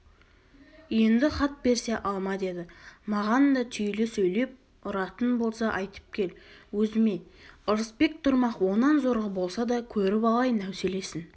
енді хат берсе алма деді маған да түйіле сөйлеп ұратын болса айтып кел өзіме ырысбек тұрмақ онан зорғы болса да көріп алайын әуселесін